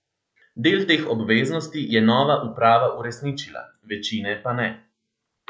Del teh obveznosti je nova uprava uresničila, večine pa ne.